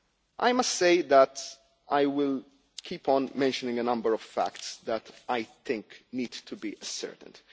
I must say that I will keep on mentioning a number of facts that I think need to be ascertained.